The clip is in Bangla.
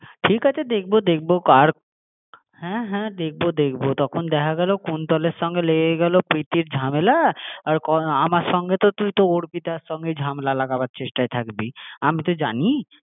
যার যা ইচ্ছে খাবে ঠিক আছে দেখবো দেখবো কার? হ্যাঁ হ্যাঁ দেখবো দেখবো তখন দেখা গেলো কুন্তলের সঙ্গে লেগে গেলো প্রীতির ঝামেলা আর আমার সাথে তো তুই অর্পিতার ঝামেলা লাগানোর চেষ্টায় থাকবি আমি তো জানি হ্যাঁ